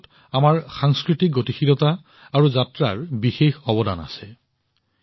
ইয়াৰ আঁৰত আমাৰ সাংস্কৃতিক গতিশীলতা আৰু যাত্ৰাৰ বিশাল অৱদান আছে